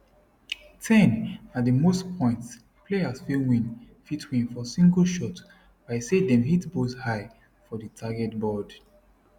10 na di most points player fit win fit win for single shot by say dem hit bullseye for di target board